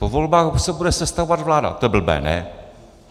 Po volbách se bude sestavovat vláda, to je blbé, ne?